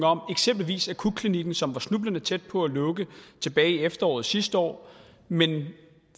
om eksempelvis akutklinikken som var snublende tæt på at lukke tilbage i efteråret sidste år men